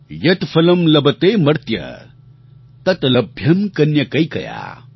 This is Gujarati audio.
યત્ ફલં લભતેમર્ત્ય તત્ લભ્યં કન્યકૈકયા